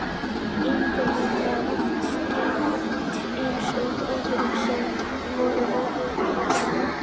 Ingimundi var oft strítt eins og öðrum sem voru ólíkir öðru fólki.